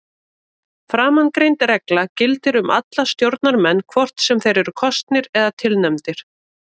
Framangreind regla gildir um alla stjórnarmenn hvort sem þeir eru kosnir eða tilnefndir.